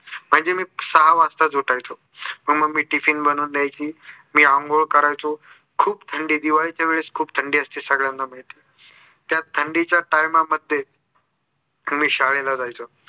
म्हणजे मी सहा वाजता उठायचो मग mummy tiffin बनवून द्यायची. मी आंघोळ करायचो खूप थंडी दिवाळीच्या वेळेस खूप थंडी असते सगळ्यांना माहिती आहे. त्या थंडीच्या time मध्ये मी शाळेला जायचो.